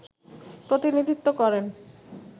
প্রতিনিধিত্ব করেন